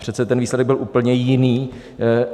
Přece ten výsledek byl úplně jiný.